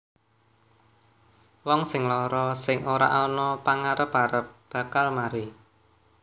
Wong sing lara sing ora ana pagarep arep bakal mari